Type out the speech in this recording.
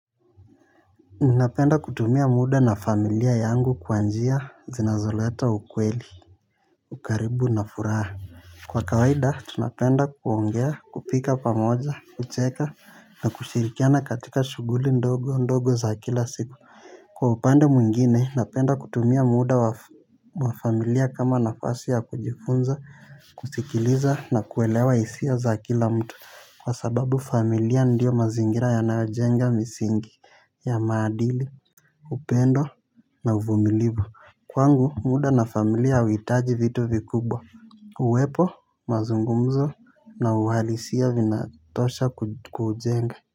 Napenda kutumia muda na familia yangu kwa njia zinazoleta ukweli, ukaribu na furaha. Kwa kawaida tunapenda kuongea kupika pamoja, kucheka na kushirikiana katika shughuli ndogo ndogo za kila siku. Kwa upande mwingine napenda kutumia muda wa familia kama nafasi ya kujifunza, kusikiliza na kuelewa hisia za kila mtu kwa sababu familia ndiyo mazingira yanayojenga misingi ya maadili. Upendo na uvumilibu. Kwangu muda na familia hauitaji vitu vikubwa. Uwepo mazungumzo na uhalisia vinatosha kuujenga.